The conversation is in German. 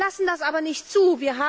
Wir lassen das aber nicht zu!